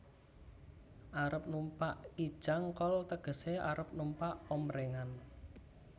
Arep numpak Kijang kol tegesé arep numpak omprèngan